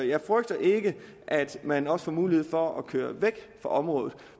jeg frygter ikke at man også får mulighed for at køre væk fra området